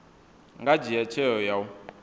nga dzhia tsheo ya u